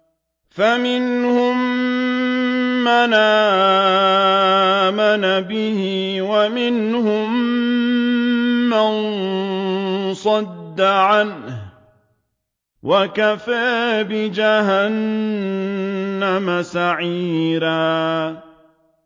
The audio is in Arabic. فَمِنْهُم مَّنْ آمَنَ بِهِ وَمِنْهُم مَّن صَدَّ عَنْهُ ۚ وَكَفَىٰ بِجَهَنَّمَ سَعِيرًا